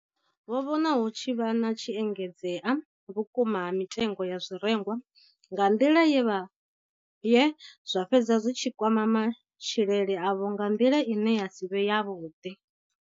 Vho vhona hu tshi vha na u engedzea vhukuma ha mitengo ya zwirengwa nga nḓila ye zwa fhedza zwi tshi kwama matshilele avho nga nḓila ine ya si vhe yavhuḓi.